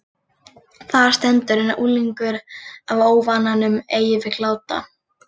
Þar stendur: En unglingur af óvananum ei vill láta